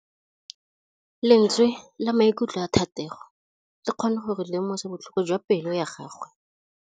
Lentswe la maikutlo a Thategô le kgonne gore re lemosa botlhoko jwa pelô ya gagwe.